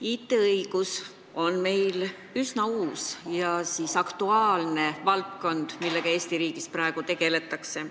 IT-õigus on meil üsna uus ja aktuaalne valdkond, millega Eesti riigis praegu tegeletakse.